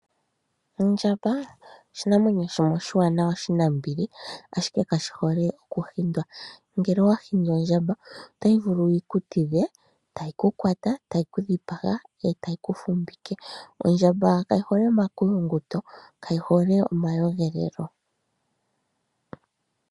Ondjamba oshinamwenyo shimwe oshiwa nawa, oshi nambili, ashike kashi hole okuhindwa. Ngele owahindi ondjamba ota yi vulu okukutidha ndele ta yi kudhipanga nokukufumbika. Ondjamba kayihoke omakulunguto nomawelelo.